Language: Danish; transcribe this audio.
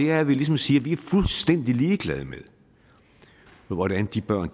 er at vi ligesom siger at vi er fuldstændig ligeglade med hvordan de børn